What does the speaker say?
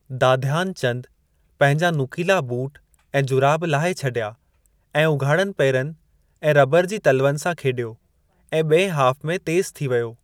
दाध्यान चंद पंहिंजा नुकीला बूट ऐं जुराब लाहे छॾिया ऐं उघाड़नि पेरनि ऐं रबर जी तलवनि सां खेॾियो ऐं ॿिंए हॉफ़ में तेज़ थी वियो।